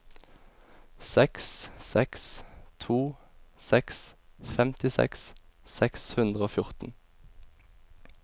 seks seks to seks femtiseks seks hundre og fjorten